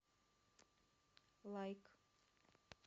лайк